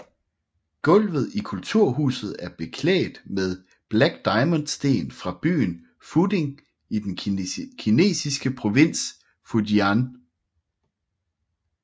Gulvet i Kulturhuset er beklædt med Black Diamond sten fra byen Fuding i den kinesiske provins Fujian